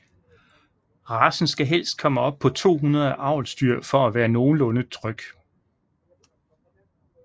Racen skal helst komme op på 200 avlsdyr for at være nogenlunde tryg